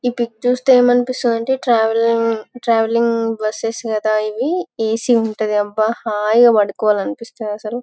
ఈ పిక్ చుస్తే మనకు ఏమి అనిపిస్తుంది అంటే ట్రావెల్లింగ్ ట్రావెల్లింగ్ బస్సు కాదా ఇవి ఏసీ ఉంటది అబ హాయిగా పడుకోవాలి అనిపిస్తాది అస్సలు.